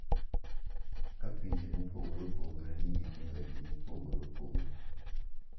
Ka pinje mopogore opogore nigi timbegi mopogore opogore,